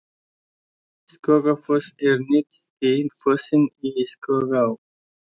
Skógafoss er neðsti fossinn í Skógaá.